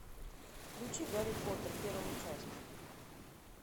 включи гарри поттер первую часть